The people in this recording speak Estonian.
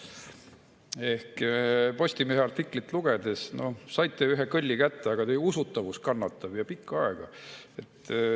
Ehk Postimehe artiklit lugedes saite ühe kõlli kätte, aga teie usutavus kannatab, ja pikka aega.